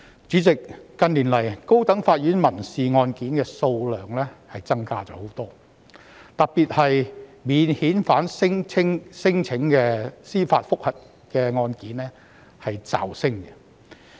主席，近年來，高等法院民事案件的數量增加了很多，特別是免遣返聲請的司法覆核案件驟升。